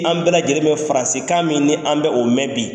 An bɛɛ lajɛlen bɛ faransikan min ni an bɛ o mɛn bi.